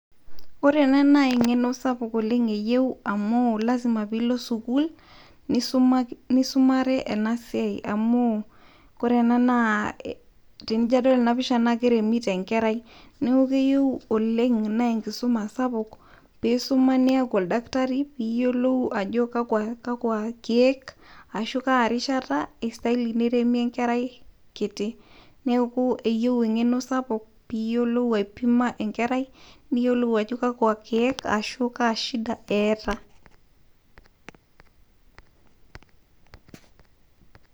ore ena naa eng'eno sapuk oleng eyieu amu lasima pilo sukul nisumare ena siai amu wore ena naa eijo adol ena pisha naa keremito enkerai neaku keyieu enkisuma sapuk oleng' niaku oldakitari piyiolou ajo kakua keek arashu kaa rishata istahili neremi enkerai kiti. Neaku eyieu ajo kakwa keek naa kashida etaa